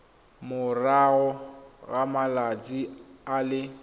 morago ga malatsi a le